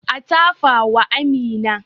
A tafa wa Amina